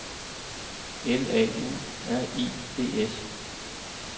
L A U R I D S